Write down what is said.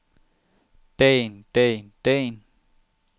dagen dagen dagen